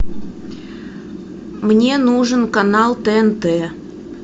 мне нужен канал тнт